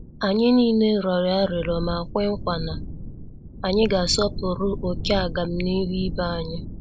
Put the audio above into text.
Anyị niile rịọrọ arịrịọ ma kwe nkwa na anyị ga -asọpụrụ oké agamnihu ibé anyị.